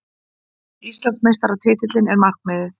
Íslandsmeistaratitillinn er markmiðið